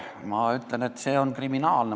Ma ütlen, et see on kriminaalne.